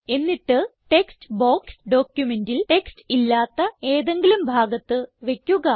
എന്നിട്ട് text box ഡോക്യുമെന്റിൽ text ഇല്ലാത്ത ഏതെങ്കിലും ഭാഗത്ത് വയ്ക്കുക